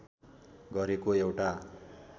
गरेको एउटा